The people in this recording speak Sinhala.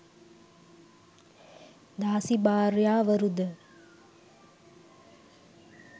දාසි භාර්යාවරු ද